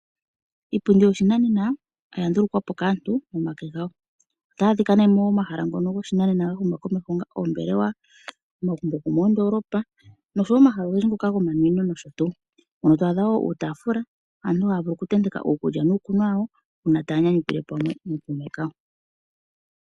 Iipundi yoshinanena oya ndulukwa po kaantu nomake gawo. Otayi adhika nee momahala ngono goshinanena ngoka ga huma komeho ngaashi oombelewa, omagumbo gomoondoolopa no sho wo omahala ogendji gomanwino nosho tuu. Mpono to adha uutaafula mpono aantu ha ya vulu oku tenteka uukulya nuukunwa wawo uuna ta ya nyanyukilwa pamwe nookuume kawo.